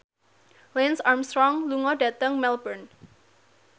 Lance Armstrong lunga dhateng Melbourne